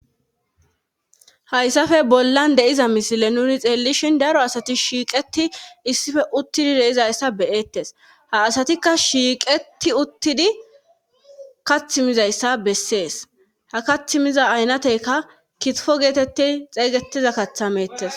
Haysafe bollan de7iza misile nuuni xeellishin daro asati shiiqetti isipe uttudi de7izayssa be7eettes ha asatikka shiiqetti uttidi kathi mizayssa besses ha kathi miza aynateka kitfo geeteti xeegettida katha meettes.